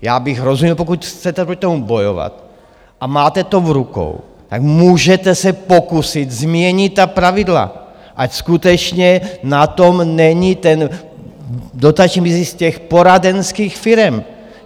Já bych rozuměl, pokud chcete proti tomu bojovat a máte to v rukou, tak můžete se pokusit změnit ta pravidla, ať skutečně na tom není ten dotační mizí z těch poradenských firem.